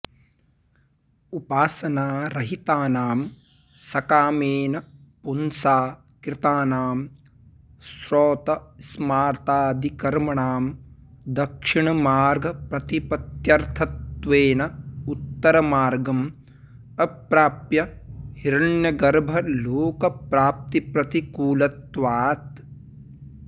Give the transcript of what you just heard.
उपासनारहितानां सकामेन पुंसा कृतानां श्रौतस्मार्तादिकर्मणां दक्षिणमार्गप्रतिपत्यर्थत्वेन उत्तरमार्गं अप्राप्य हिरण्यगर्भलोकप्राप्तिप्रतिकूलत्वात्